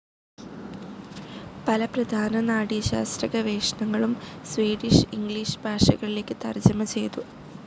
പല പ്രധാന നാഡീശാസ്ത്ര ഗവേഷണങ്ങളും സ്വീഡിഷ്, ഇംഗ്ലിഷ് ഭാഷകളിലേക്ക് തർജ്ജമ ചെയ്തു.